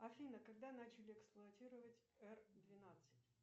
афина когда начали эксплуатировать р двенадцать